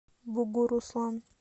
бугуруслан